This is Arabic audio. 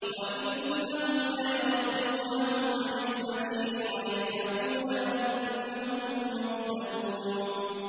وَإِنَّهُمْ لَيَصُدُّونَهُمْ عَنِ السَّبِيلِ وَيَحْسَبُونَ أَنَّهُم مُّهْتَدُونَ